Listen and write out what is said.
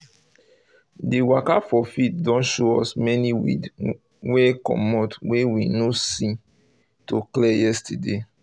the waka for field don show us many weed wey wey comot wey we no see to clear yesterday